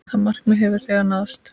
Það markmið hefur þegar náðst.